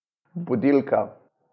Budilka.